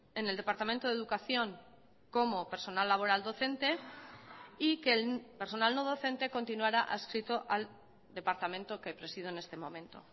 en el departamento de educación como personal laboral docente y que el personal no docente continuará adscrito al departamento que presido en este momento